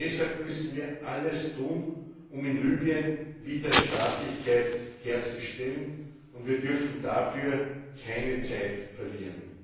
Deshalb müssen wir alles tun, um in Libyen wieder Staatlichkeit herzustellen, und wir dürfen dabei keine Zeit verlieren.